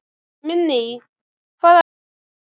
Minný, hvaða leikir eru í kvöld?